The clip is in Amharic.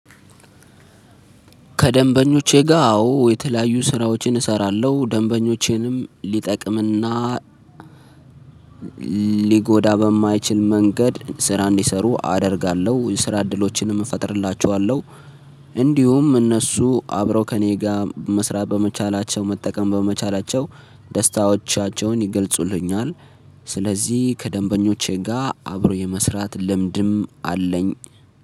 ከደንበኞቼ ጋር አዎ የተለያዩ ስራዎችን እሰራለሁ። ደንበኞቼንም ልጠቅምና ሊጎዳ በማይችል መንገድ ስራ እንዲሰሩ አደርጋለሁ ስራ እድሎችንም እፈጥርላችኋለሁ። እንዲሁም እነሱ አብረው ከእኔ ጋር መስራት በመቻላቸ፣ ው መጠቀም በመቻላቸው፣ ደስታዎቻቸውን ይገልጹልኛል። ስለዚህ ከደንበኞቼ ጋር አብሮ የመስራት ልምድም አለኝ።